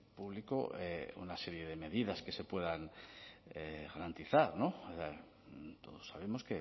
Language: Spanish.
público una serie de medidas que se puedan garantizar todos sabemos